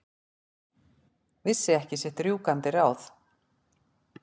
Vissi ekki sitt rjúkandi ráð.